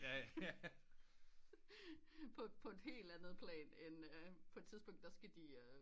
På et helt andet plan end øh på et tidspunkt der skal de øh